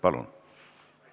Palun!